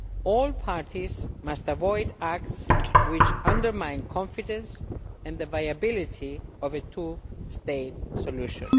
All parties must avoid acts which undermine confidence and the viability of a two state solution.